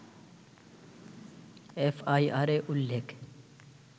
এফআইআরে উল্লেখ